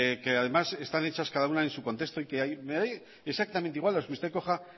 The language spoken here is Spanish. que además están hechas cada una en su contexto y que me daría exactamente igual las que usted coja